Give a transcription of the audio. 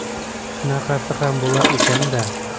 Shunaqasi ham bo‘lar ekan-da.